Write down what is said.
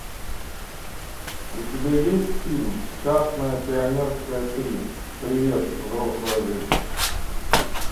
у тебя есть фильм частное пионерское три привет взрослая жизнь